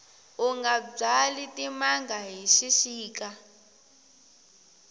unga byali timanga hi xixika